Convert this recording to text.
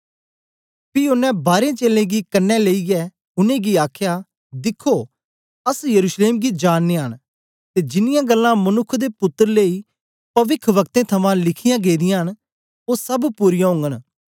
पी ओनें बारें चेलें गी कन्ने लेईयै उनेंगी आखया दिख्खो अस यरूशलेम गी जा नियां न ते जिन्नीयां गल्लां मनुक्ख दे पुत्तर लेई पविखवक्तें थमां लिखीयां गेदियां न ओ सब पूरीयां ओगन